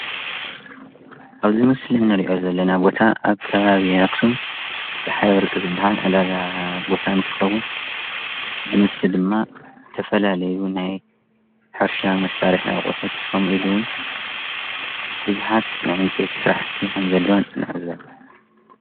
ኣብዚ ምስሊ እንሪኦ ዘለና ቦታ ኣብ ከባቢ ኣክሱም ፀሓይ በርቂ ዝበሃል ዕዳጋ ቦታ እንትኸውን እቲ ምስሊ ድማ ዝተፈላለዩ ናይ ሕርሻ መሳርሒ ኣቁሑት አምኡ እውን ብዛሕት ናይ ዕንጨይቲ ስራሕቲ ከምዘለዎን ንዕዘብ።